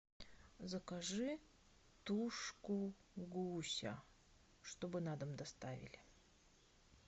закажи тушку гуся чтобы на дом доставили